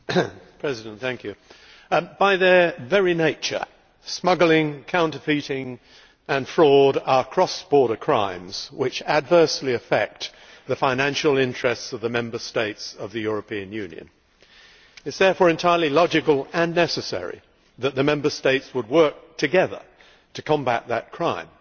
Mr President, by their very nature, smuggling, counterfeiting and fraud are cross border crimes which adversely affect the financial interests of the Member States of the European Union. It is therefore entirely logical and necessary that the Member States should work together to combat such crimes,